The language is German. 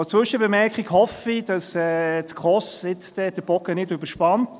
Als Zwischenbemerkung hoffe ich, dass die SKOS jetzt dann den Bogen nicht überspannt.